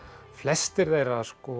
flestir þeirra